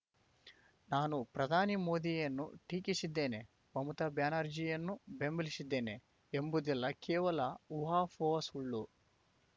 ನಾನು ಪ್ರಧಾನಿ ಮೋದಿಯನ್ನು ಟೀಕಿಸಿದ್ದೇನೆ ಮಮತಾ ಬ್ಯಾನರ್ಜಿಯನ್ನು ಬೆಂಬಲಿಸಿದ್ದೇನೆ ಎಂಬುದೆಲ್ಲಾ ಕೇವಲ ಊಹಾಪೋಹ ಸುಳ್ಳು